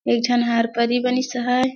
एक झन हार परी बनीस हवय ।